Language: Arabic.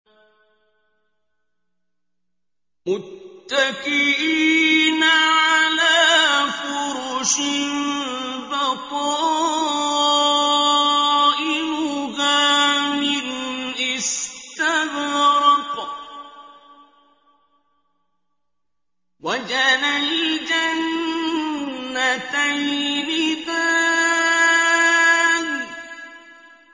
مُتَّكِئِينَ عَلَىٰ فُرُشٍ بَطَائِنُهَا مِنْ إِسْتَبْرَقٍ ۚ وَجَنَى الْجَنَّتَيْنِ دَانٍ